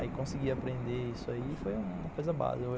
Aí conseguir aprender isso aí foi uma coisa básica.